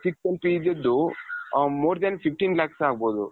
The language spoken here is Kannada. ಗೆದ್ದು more than fifteen lakhs ಆಗ್ಬಹುದು.